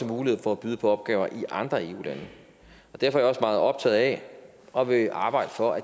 mulighed for at byde på opgaver i andre eu lande derfor er jeg meget optaget af og vil arbejde for at